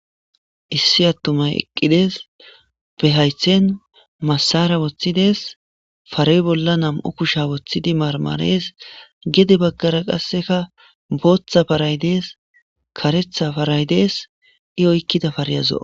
Issi attumay eqqides behaythen massara woththidees farey bolla nam'o kusha woththidi marmarees gede baggara qasseka booththa paray dees karetha paray dees i oykkida pareyazoo.